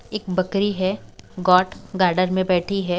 एक बकरी है गॉट गार्डन में बैठी है।